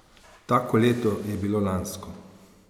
Tako leto je bilo lansko.